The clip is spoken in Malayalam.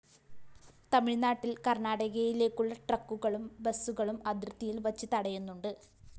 തമിഴ്നാട്ടില്‍ കര്‍ണാടകയിലേക്കുള്ള ട്രക്കുകളും ബസുകളും അതിര്‍ത്തിയില്‍ വച്ച് തടയുന്നുണ്ട്